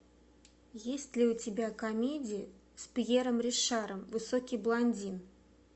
есть ли у тебя комедия с пьером ришаром высокий блондин